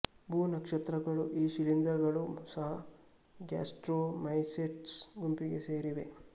ಭೂ ನಕ್ಷತ್ರಗಳು ಈ ಶಿಲೀಂಧ್ರಗಳು ಸಹ ಗ್ಯಾಸ್ಟ್ರೋ ಮೈಸೆಟ್ಸ್ ಗುಂಪಿಗೆ ಸೇರಿವೆ